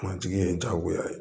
Kuntigi ye diyagoya ye